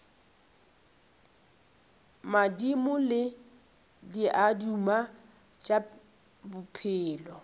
madimo le diaduma tša bophelo